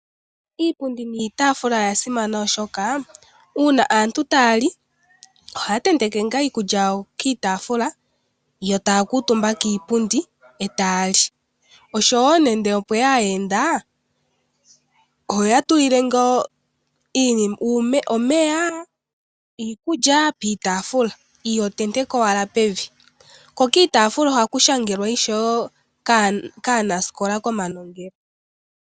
Iipundi niitafula oya simana oshoka uuna aantu ta yali ohaya tenteke nga iikulya yawo kiitafula yo taya kutumba kiipundi eta yali, osho wo nando opweya aayenda oho ya tulile nga nando omeya, iikulya piitafula, iho tenteke wala pevi, ko kiitafula ohaku shangelwa wo kaanasikola komanongelo.